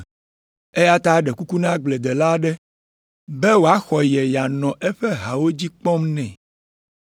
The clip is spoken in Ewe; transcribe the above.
Eya ta eɖe kuku na agbledela aɖe be wòaxɔ ye yeanɔ eƒe hawo dzi kpɔm nɛ.